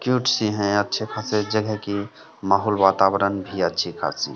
cute सी है अच्छे खासे जगह की माहौल वातावरण भी अच्छी खासी --